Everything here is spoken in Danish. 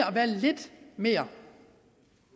at være lidt mere